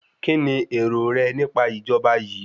Kíni èrò rẹ nípa ìjọba yìí?